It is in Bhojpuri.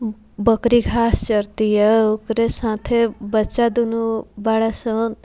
बकरी घास चरतिया ओकरे साथे बच्चा दोनों बाड़े सन।